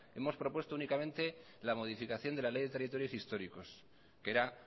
hemos propuesto únicamente la modificación de la ley de territorios históricos que era